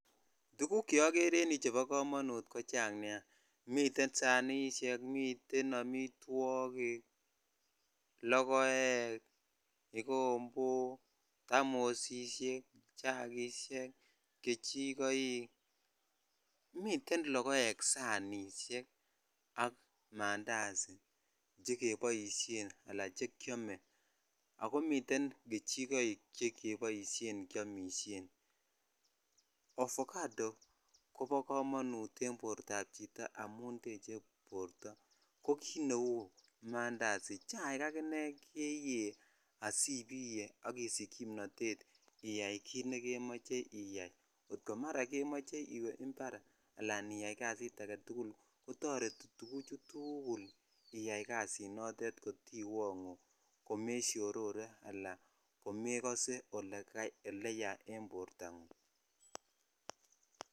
Tuguk cheokeree en yuuchebo komonut ko chang nia miten sanishek miten amitwokik ,lokoek ,kikombok ,tamosishek ,chakishek ,kejikoik miten lokoek sanishek ak mandazi chekiboishen ala chekyomeak komiten kejikoik chekiboishen kyomishen ovacado kobo komonut en bortap chito amun tech borto ko kit neu mandazi chair akinee keyee asibiyee ak isich kimnotet iyai kit nekemoche iyai maraa kemoche iwee impar ala iyai kazit aketukul kotoreti tukuchu tukul iyai kazinotin kotiwonguu komeshororee ala komekose ole yaa en borto ngung.